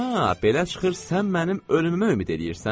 A, belə çıxır sən mənim ölümümə ümid eləyirsən?